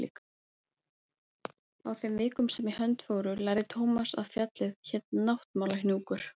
Á þeim vikum sem í hönd fóru lærði Thomas að fjallið hét Náttmálahnjúkur.